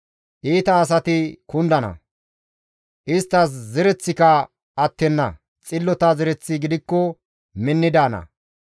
Iita asati kundana; isttas zereththika attenna; xillota zereththi gidikko minni daana.